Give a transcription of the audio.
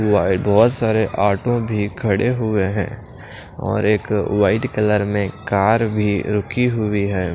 बहुत सारे ऑटो भी खड़े हुए हैं और एक वाइट कलर में कार भी रुकी हुई है।